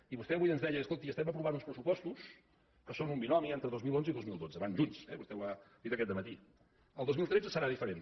i vostè avui ens deia escolti estem aprovant uns pressupostos que són un binomi entre dos mil onze i dos mil dotze van junts eh vostè ho ha dit aquest dematí el dos mil tretze serà diferent